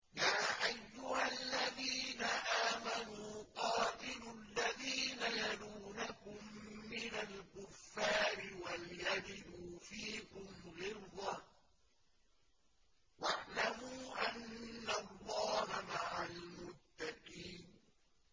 يَا أَيُّهَا الَّذِينَ آمَنُوا قَاتِلُوا الَّذِينَ يَلُونَكُم مِّنَ الْكُفَّارِ وَلْيَجِدُوا فِيكُمْ غِلْظَةً ۚ وَاعْلَمُوا أَنَّ اللَّهَ مَعَ الْمُتَّقِينَ